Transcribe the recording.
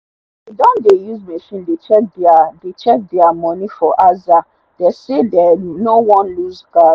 they don dey use machine dey check thier dey check thier money for aza they say dem no wan looseguard